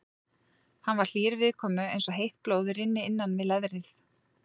Hann var hlýr viðkomu eins og heitt blóð rynni innan við leðrið.